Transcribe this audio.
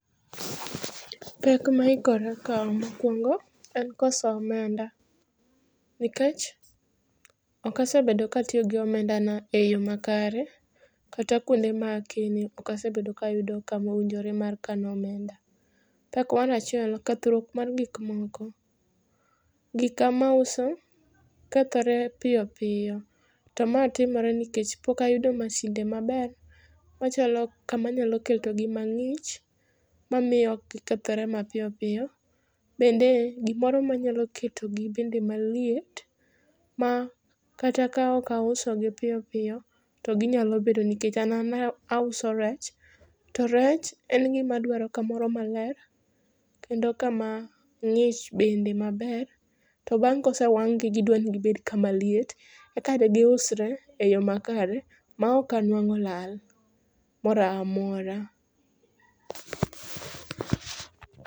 Pek ma aikora kaw mokwongo en koso omenda. Nikech ok asebedo ka atiyo gi omenda na e yo makare. Kata kwonde ma kene ok asebedo kamowinjore mar kano omenda. Pek mar achiel, kethruok mar gik moko. Gika ma auso kethore piyo piyo to ma timore nikech pok ayudo masinde maber machalo kamanyalo keto gi mang'ich mamiyo ok gikethre mapiyo piyo. Bende gimoro manyalo keto gi bende maliet ma kata ok auso gi piyo piyo to ginyalo bedo. Nikech an aouso rech to rech en gima dwaro kamoro maler. Kendo kama ng'ich bende maber to bang' kosewang' gi gidwa ni gibed kamaliet eka de giusre e yo makare ma ok anwang'o lal moro amora.